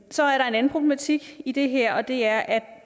så er der en anden problematik i det her det er at